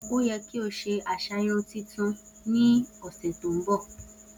O yẹ ki o se aṣa irun tuntun ni ọsẹ to nbọ!